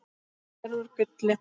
Hún var gerð úr gulli.